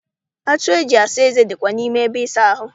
Atụ eji asa eze dikwa n'ime ebe ịsa ahụ.